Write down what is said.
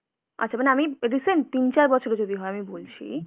আচ্ছা, মানে আমি recent তিন-চার বছরে যদি হয় আমি বলছি।